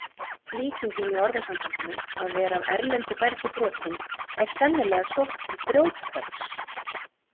Líkingin í orðasambandinu að vera af erlendu bergi brotinn er sennilega sótt til grjóthöggs.